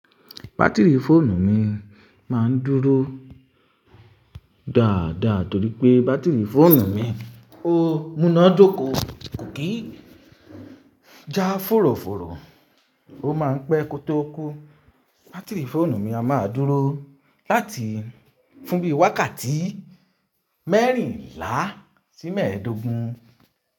Batiri fóònù mi máa ń dúró dáadáa torí pé batiri fóònù mi ó múná dóko, kò kí já fòròfòrò, ó máa ń pẹ́ kó tó kú. Batiri fóònù mi a máa dúró láti fún bí i wákàtí mẹ́rìnlá sí mẹ́ẹ̀dógún.